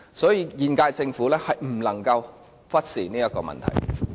所以，現屆政府不能忽視這個問題。